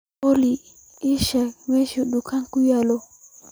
olly aan sheego meesha dukaanka ku yaal